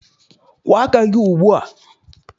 Kwụọ aka gị ugbu a!